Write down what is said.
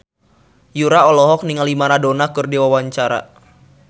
Yura olohok ningali Maradona keur diwawancara